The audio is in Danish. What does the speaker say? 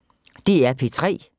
DR P3